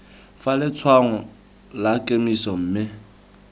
fa letshwaong la kemiso mme